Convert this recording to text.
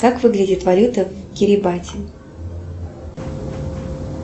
как выглядит валюта в керебате